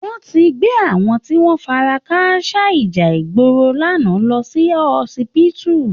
Wọ́n tí gbé àwọn tí wọn fara káásá ìjà ìgboro lánàá lọ sí họsibítù